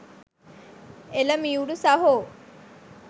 එල මියුරු සහෝ